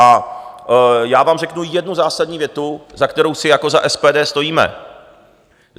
A já vám řeknu jednu zásadní větu, za kterou si jako za SPD stojíme.